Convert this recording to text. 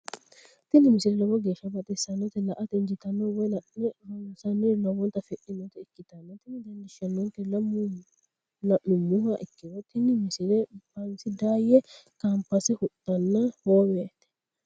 tini misile lowo geeshsha baxissannote la"ate injiitanno woy la'ne ronsannire lowote afidhinota ikkitanna tini leellishshannonkeri la'nummoha ikkiro tini misile bansi daayye kamphaase huxxanna hoommete.